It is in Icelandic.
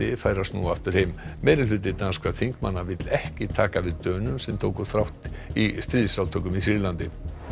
fær að snúa aftur heim danskra þingmanna vill ekki taka við Dönum sem tóku þátt í stríðsátökum í Sýrlandi